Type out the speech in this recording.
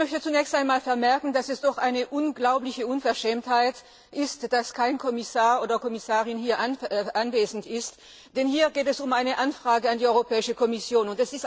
Ich möchte zunächst einmal vermerken, dass es doch eine unglaubliche Unverschämtheit ist, dass kein Kommissionsmitglied hier anwesend ist, denn hier geht es um eine Anfrage an die Europäische Kommission.